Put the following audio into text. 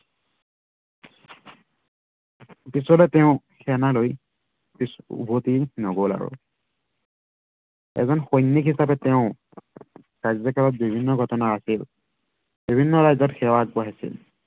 পিছলৈ তেওঁ সেনালৈ উভটি নগল আৰু। এজন সৈনিক হিচাপে তেওঁ কাৰ্যকালৰ বিভিন্ন ঘটনা আছিল। বিভিন্ন ৰাজ্য়ত সেৱা আগবঢ়াইছিল।